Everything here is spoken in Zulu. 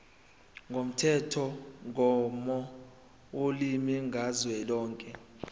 lomthethomgomo wolimi kazwelonke